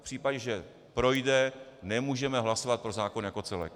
V případě, že projde , nemůžeme hlasovat pro zákon jako celek.